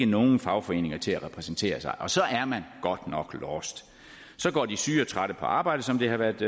nogen fagforeninger til at repræsentere sig og så er man godt nok lost så går de syge og trætte på arbejde som det har været